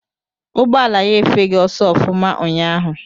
Ụgbọala ya efeghị ọsọ ọfụma unyaahụ.